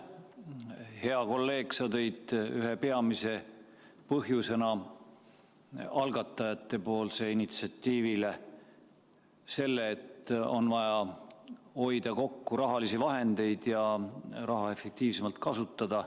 Hea kolleeg, sa tõid algatajate initsiatiivi ühe peamise põhjusena välja selle, et on vaja hoida kokku rahalisi vahendeid ja raha efektiivsemalt kasutada.